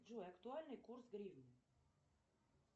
джой актуальный курс гривны